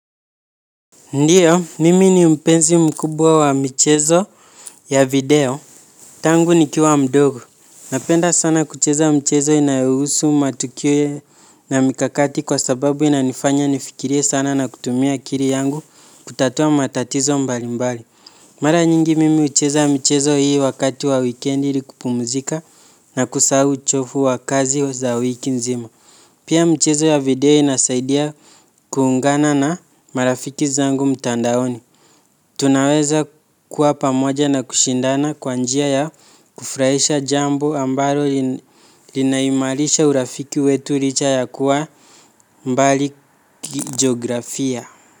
Ndiyo, mimi ni mpenzi mkubwa wa mchezo ya video. Tangu ni kiwa mdogo. Napenda sana kucheza mchezo inayehusu matukio na mikakati kwa sababu inanifanya nifikirie sana na kutumia akili yangu kutatua matatizo mbali mbali. Mara nyingi mimi ucheza mchezo hii wakati wa weekendi ili kupumuzika na kusahau uchovu wa kazi za wiki nzima. Pia mchezo ya video inasaidia kuungana na marafiki zangu mtandaoni. Tunaweza kuwa pamoja na kushindana kwa njia ya kufurahisha jambo ambalo linaimarisha urafiki wetu licha ya kuwa mbali kijografia.